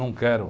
Não quero.